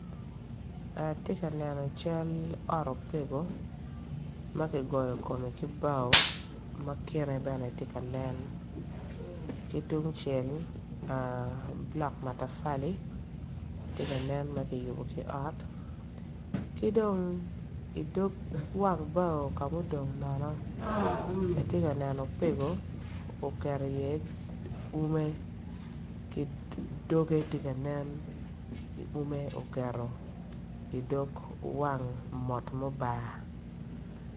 Atye ka neno cal ot opego ma kigoyo kome ki bao dok kome tye ka nen ki tung cel bulok matafali tye ka nen ma kiyubo ki ot ki dong i dog ot bao ka ma odong nono atye ka neno opego oketo iye ume.